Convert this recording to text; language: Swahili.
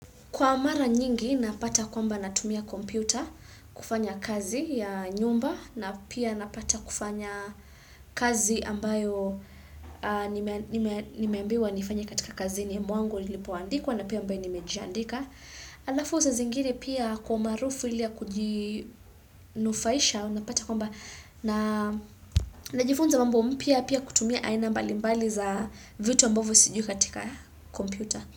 Kwa mara nyingi napata kwamba natumia kompyuta kufanya kazi ya nyumba na pia napata kufanya kazi ambayo nimeambiwa nifanye katika kazini mwangu nilipoandikwa na pia ambayo nimejandika. Halafu saa zingine pia kwa maarufu ile ya kujinufaisha unapata kwamba najifunza mambo mpya pia kutumia aina mbali mbali za vitu ambavyo siju katika kompyuta.